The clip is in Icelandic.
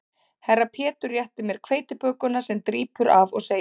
Herra Pétur réttir mér hveitibökuna sem drýpur af og segir